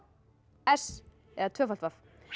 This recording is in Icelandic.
s eða w